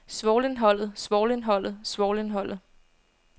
svovlindholdet svovlindholdet svovlindholdet